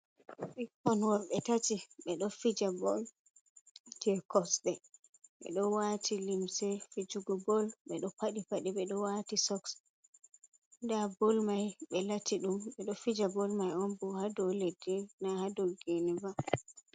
Ɓikkon worɓe tati ɓeɗo fija bol je kosde, ɓeɗo wati limse fijugo bol, ɓeɗo paɗi paɗe, ɓeɗo wati soks. Nda bol mai be latti dum bedo fija bol mai on bo hado leddi na hado gineba.